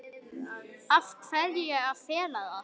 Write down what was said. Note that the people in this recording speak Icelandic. Af hverju að fela það?